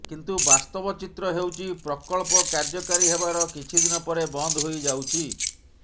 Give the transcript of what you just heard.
କିନ୍ତୁ ବାସ୍ତବ ଚିତ୍ର ହେଉଛି ପ୍ରକଳ୍ପ କାର୍ଯ୍ୟକାରୀ ହେବାର କିଛି ଦିନ ପରେ ବନ୍ଦ ହୋଇଯାଉଛି